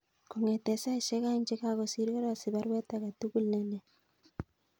Kongeten saisyek aeng chegagosir karasich baruweet agetugul ne leel